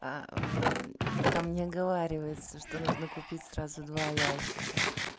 там не оговаривается что нужно купить сразу два ящика